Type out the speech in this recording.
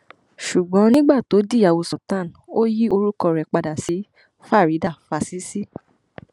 ṣùgbọn nígbà tó dìyàwó sultan ò yí orúkọ rẹ padà sí faridà fásisì